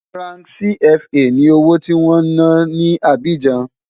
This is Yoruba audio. Franc CFA ni owó tí wọ́n ń ná ní Abidjan.